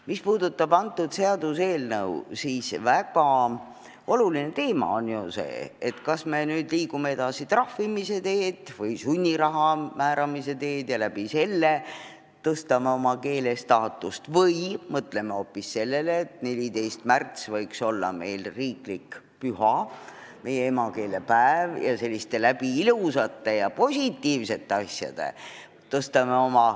Mis puudutab seaduseelnõu, siis väga oluline teema on ju see, kas me liigume edasi trahvimise või sunniraha määramise teed ja niimoodi tõstame oma keele staatust või mõtleme hoopis sellele, et 14. märts, meie emakeelepäev, võiks olla riiklik püha ja me tõstame eesti keele staatust selliste ilusate ja positiivsete asjade abil.